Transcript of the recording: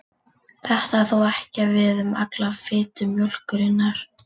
Þetta á þó ekki við um alla fitu mjólkurinnar.